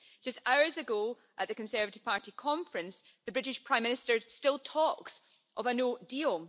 Just hours ago, at the Conservative Party conference, the British Prime Minister is still talking of a no deal.